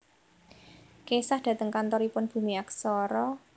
Kesah dateng kantoripun Bumi Aksara